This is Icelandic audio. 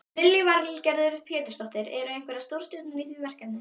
Lillý Valgerður Pétursdóttir: Eru einhverjar stórstjörnur í því verkefni?